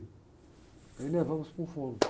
Aí levamos para um fono.